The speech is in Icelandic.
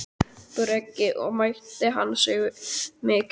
Breki: Og meiddi hann sig mikið?